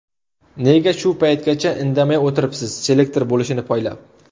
Nega shu paytgacha indamay o‘tiribsiz selektor bo‘lishini poylab?